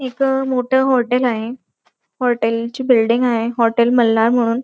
एक मोठ हॉटेल आहे हॉटेल ची बिल्डिंग आहे हॉटेल मल्हार म्हणून.